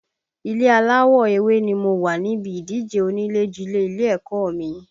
Ilé aláwọ̀ ewé ni mo wà níbi ìdíje onílé jilé ilé ẹ̀kọ́ ọ mi